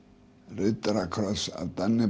riddarakross af